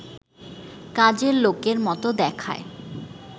কাজের লোকের মতো দেখায়